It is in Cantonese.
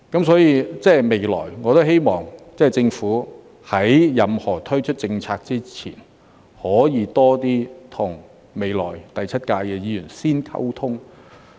所以，未來，我希望政府在任何推出政策之前，可以多些與未來第七屆的議員先溝通。